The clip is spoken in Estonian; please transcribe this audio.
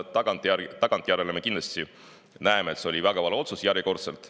Tagantjärele me kindlasti näeme, et see oli väga vale otsus, järjekordselt.